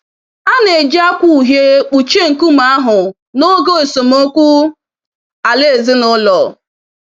A na-eji akwa uhie kpuchie nkume ahụ na n'oge esemokwu ala ezinụlọ.